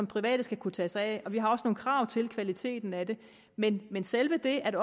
private skal kunne tage sig af og vi har også nogle krav til kvaliteten af det men men selve det at